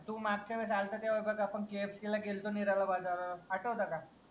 तू मागच्या वेळेस अल्ता तेव्हा बघ आपन KFC ला गेल्तो मीराबा बाजार आठवत का?